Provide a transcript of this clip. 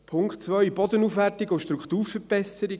Punkt 2, Bodenaufwertung und Strukturverbesserung: